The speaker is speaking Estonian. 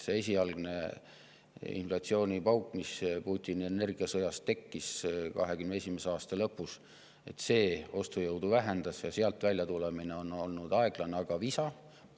See esialgne inflatsioonipauk, mis Putini energiasõja tõttu tekkis 2021. aasta lõpus, vähendas ostujõudu ja sealt väljatulemine on olnud aeglane, aga visa.